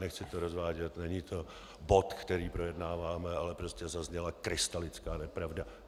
Nechci to rozvádět, není to bod, který projednáváme, ale prostě zazněla krystalická nepravda.